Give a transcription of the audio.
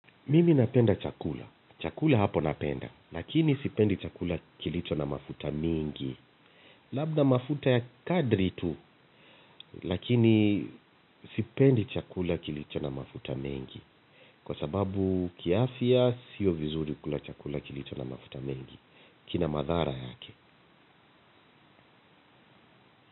Mimi napenda chakula. Chakula hapo napenda. Lakini sipendi chakula kilicho na mafuta mingi. Labda mafuta ya kadri tu. Lakini sipendi chakula kilicho na mafuta mingi. Kwa sababu kiafya sio vizuri kula chakula kilicho na mafuta mengi. Kinamadhara yake.